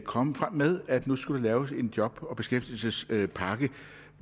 komme frem med at der nu skulle laves en job og beskæftigelsespakke